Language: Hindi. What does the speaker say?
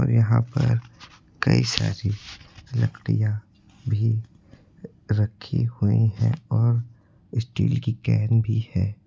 और यहां पर कई सारी लकड़ियां भी रखी हुई हैं और स्टील की कैन भी है।